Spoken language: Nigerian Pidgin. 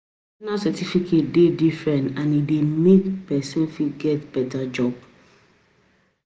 Professional certificate de different and e de make persin fit get better job